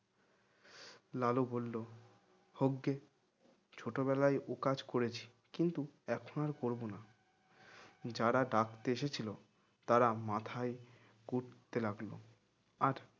লালু বলল হোকগে ছোটবেলায় ও কাজ করেছি ঠিকই এখন আর করব না যারা ডাকতে এসেছিল তারা মাথায় কুটতে লাগলো আর